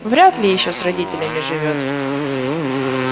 вряд ли ещё с родителями живёт